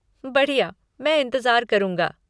बढ़िया, मैं इंतज़ार करूँगा।